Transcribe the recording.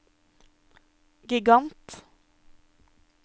gigant